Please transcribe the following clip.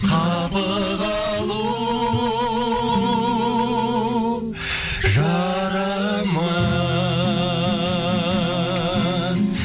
қапы қалу жарамас